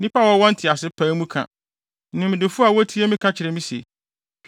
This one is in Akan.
“Nnipa a wɔwɔ ntease pae mu ka, nimdefo a wotie me ka kyerɛ me se,